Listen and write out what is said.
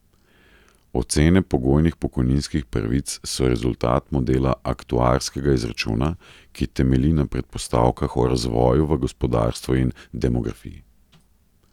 Ocene pogojnih pokojninskih pravic so rezultat modela aktuarskega izračuna, ki temelji na predpostavkah o razvoju v gospodarstvu in demografiji.